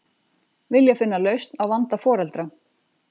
Vilja finna lausn á vanda foreldra